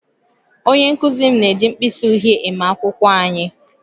Onye nkụzi m na-eji mkpịsị uhie eme akwụkwọ anyị